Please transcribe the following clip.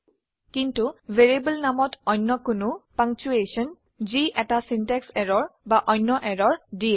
কিন্তু ভ্যাৰিয়েবল নামত অন্য কোনো পাংচুৱেশ্যন যি এটা সিনট্যাক্স এৰৰ বা অন্য এৰৰ দিয়ে